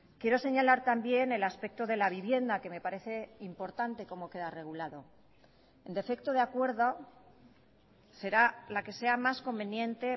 quiero señalar también el aspecto de la vivienda que me parece importante como queda regulado en defecto de acuerdo será la que sea más conveniente